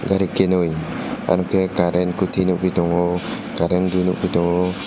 gari kwni ar ke karren kuti nugui tongo karren nwgi tongo.